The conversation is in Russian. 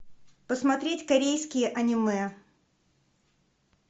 посмотреть корейские аниме